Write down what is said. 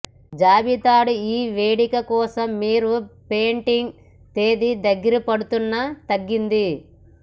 జాబితా డు ఈ వేడుక కోసం మీరు పెయింటింగ్ తేదీ దగ్గర పడుతున్న తగ్గింది